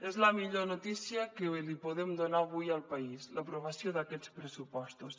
és la millor notícia que li podem donar avui al país l’aprovació d’aquests pressupostos